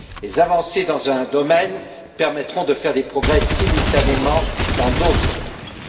Les avancées dans un domaine permettront de faire des progrès simultanément dans d'autres domaines.